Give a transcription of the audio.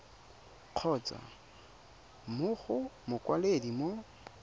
kgotsa mo go mokwaledi mo